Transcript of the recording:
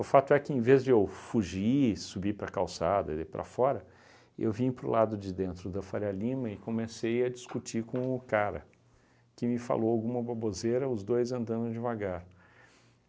O fato é que em vez de eu fugir, subir para a calçada e daí para fora, eu vim para o lado de dentro da Faria Lima e comecei a discutir com o cara, que me falou alguma baboseira, os dois andando devagar.